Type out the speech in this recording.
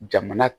Jamana